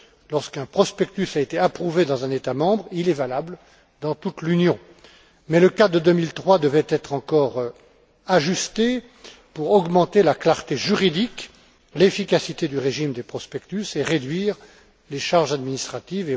Lorsqu'un prospectus a été approuvé dans un État membre, il est valable dans toute l'Union. Mais le cadre de 2003 devait être encore ajusté pour augmenter la clarté juridique, l'efficacité du régime des prospectus et réduire les charges administratives.